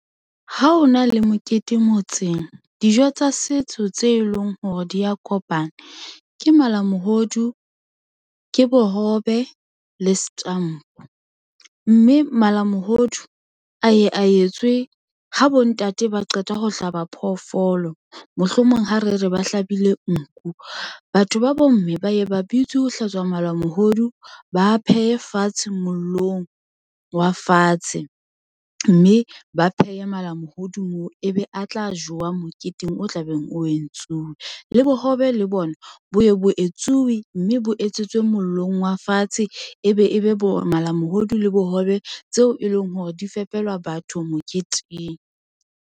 Ha ho na le mokete motseng dijo tsa setso tse leng hore dia kopana ke malamohodu, ke bohobe le setampo. Mme malamohodu a ye a etswe ha bo ntate ba qeta ho hlaba phoofolo. Mohlomong ha re re ba hlabile nku, batho ba bomme ba ye ba bitswe ho hlatswa malamohodu ba phehe fatshe mollong wa fatshe. Mme ba pheha malamohodu moo ebe a tla jowa moketeng o tlabeng o e entsuwe le bohobe le bona boya bo etsuwe, mme bo etsetswe mollong wa fatshe e be e be bo malamohodu le bohobe tseo e leng hore di fepela batho moketeng.